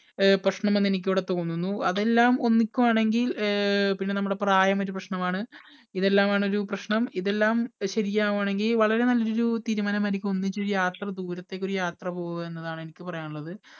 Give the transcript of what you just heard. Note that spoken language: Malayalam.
അഹ് പ്രശ്നമെന്ന് എനിക്കിവിടെ തോന്നുന്നു. അതെല്ലാം ഒന്നിക്കുകയാണെങ്കിൽ പിന്നെ നമ്മുടെ പ്രായം ഒരു പ്രശ്നമാണ് ഇതെല്ലാം ആണ് ഒരു പ്രശ്നം ഇതെല്ലാം ശരിയാവുകയാണെങ്കിൽ വളരെ നല്ലൊരു തീരുമാനമായിരിക്കും ഒന്നിച്ചൊരു യാത്ര ദൂരത്തേക്ക് ഒരു യാത്ര പോവുക എന്നതാണ് എനിക്ക് പറയാനുള്ളത്